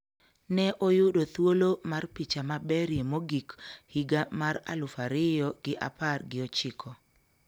Ne oyudo thuolo mar picha maberie mogik higa mar aluf ariyo gi apar gi ochiko